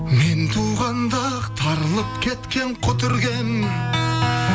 мен туғанда ақ тарылып кеткен құтыр кен